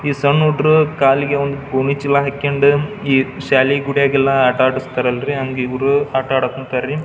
ಈ ಸಣ್ಣ ಹುಡುಗ್ರು ಕಾಲಿಗೆ ಒಂದು ಭೂಮಿ ಚೀಲಾ ಹಾಕ್ಯಂಡು ಈ ಶಾಲೆ ಗುಡಿಗೆಲ್ಲಾ ಆಟ ಆಡ್ಸತ್ತಾರಲರಿ ಹಂಗ್ ಇವ್ರು ಆಟ ಆಡಕ್ ಕುಂತರಿ.